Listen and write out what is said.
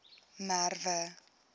merwe